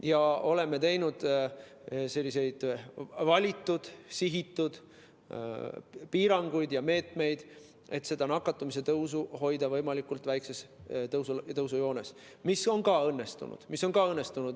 Me oleme teinud valitud, sihitud piiranguid ja meetmeid, et hoida nakatumist võimalikult väikses tõusujoones, mis on ka õnnestunud.